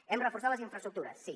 hem reforçat les infraestructures sí